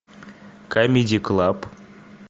камеди клаб